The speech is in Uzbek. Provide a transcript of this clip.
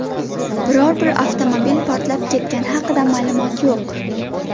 Biror bir avtomobil portlab ketgani haqida ma’lumot yo‘q.